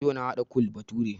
Yau na haɗa Kole bature